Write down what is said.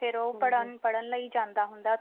ਫਿਰ ਉਹ ਪੜ੍ਹਣ ਲਈ ਜਾਂਦਾ ਹੁੰਦਾ